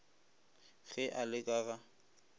ge a le ka ga